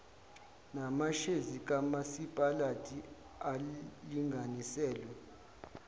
namashezi kamasipalati alinganiselwe